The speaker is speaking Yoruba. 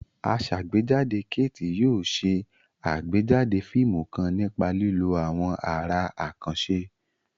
Asàgbéjáde Kate yóò ṣe àgbéjáde fíìmù kan nípa lílo àwọn àrà àkànṣe.